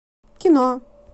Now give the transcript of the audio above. кино